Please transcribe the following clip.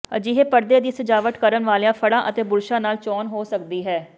ਅਜਿਹੇ ਪਰਦੇ ਦੀ ਸਜਾਵਟ ਕਰਨ ਵਾਲੀਆਂ ਫੜ੍ਹਾਂ ਅਤੇ ਬੁਰਸ਼ਾਂ ਨਾਲ ਚੋਣ ਹੋ ਸਕਦੀ ਹੈ